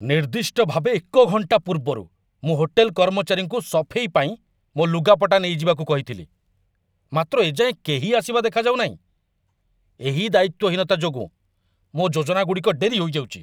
ନିର୍ଦ୍ଦିଷ୍ଟ ଭାବେ ଏକ ଘଣ୍ଟା ପୂର୍ବରୁ ମୁଁ ହୋଟେଲ କର୍ମଚାରୀଙ୍କୁ ସଫେଇ ପାଇଁ ମୋ ଲୁଗାପଟା ନେଇଯିବାକୁ କହିଥିଲି, ମାତ୍ର ଏ ଯାଏଁ କେହି ଆସିବା ଦେଖାଯାଉ ନାହିଁ। ଏହି ଦାୟିତ୍ୱହୀନତା ଯୋଗୁଁ ମୋ ଯୋଜନାଗୁଡ଼ିକ ଡେରି ହୋଇଯାଉଛି!